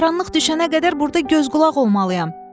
Qaranlıq düşənə qədər burda göz-qulaq olmalıyam.